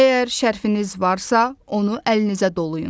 Əgər şərfınız varsa, onu əlinizə dolayın.